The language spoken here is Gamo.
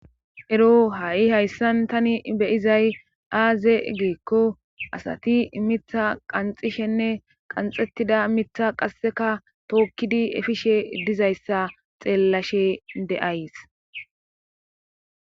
Ero ha7i hayssan tani beyizay aaze geekko asati imitha qanxishenne qanxettida mitha qasseka tookkidi efishe dizayssa xeellashe de7ays.